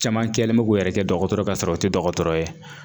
Caman kɛlen bɛ k'u yɛrɛ kɛ dɔgɔtɔrɔ ye kasɔrɔ o tɛ dɔgɔtɔrɔ ye